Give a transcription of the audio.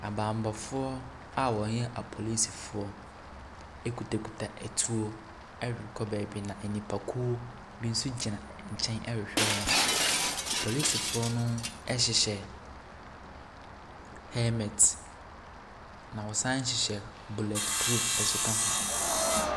Abammɔfoɔ a wɔyɛ apolisifoɔ a ɛkitakita atuo a ɛrekɔ beebi. Nkurɔfoɔ bi nso ɛgyina beebi a wɔrehwɛ wɔn. apolisifoɔ no ɛhyehyɛ helmet, na wɔsanhyehyɛ bulletproof nso ka ho.